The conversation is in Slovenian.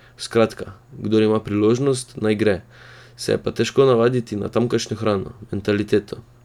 Skratka, kdor ima priložnost, naj gre, se je pa težko navaditi na tamkajšnjo hrano, mentaliteto.